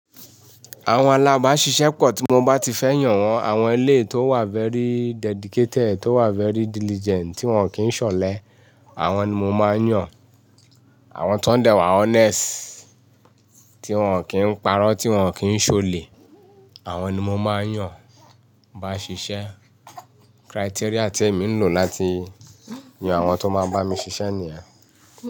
Àwọn alábasíṣẹ́ pọ̀ tí mo bá ti fẹ́ yàn wọ́n, àwọn ẹlẹ́ẹ̀ to wà very dedicated, to wà very diligent tí wọ́n kì í ṣọ̀lẹ, àwọn ni mo máa ń yàn. Àwọn tó ń dẹ̀ wà honest, tí wọ́n kì í parọ́, tí wọ́n kì í ṣolè, àwọn ni mo máa ń yàn bá ń ṣiṣẹ́. Criteria tí èmi ń lò láti yan àwọn tó máa bá mi ṣiṣẹ́ nìyen.